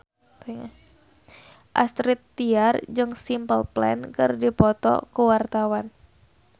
Astrid Tiar jeung Simple Plan keur dipoto ku wartawan